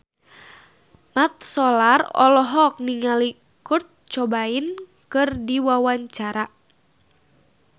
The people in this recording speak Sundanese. Mat Solar olohok ningali Kurt Cobain keur diwawancara